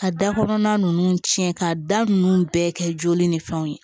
Ka da kɔnɔna ninnu tiɲɛ ka da nunnu bɛɛ kɛ joli ni fɛnw ye